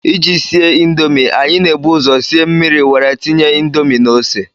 ị ji sie indomi, anyị na-ebu ụzọ sie mmiri were tinye indomi na ose